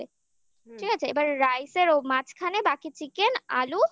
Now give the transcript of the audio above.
আছে এবার rice র ও মাঝখানে বাকি chicken আলু